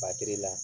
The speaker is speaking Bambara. la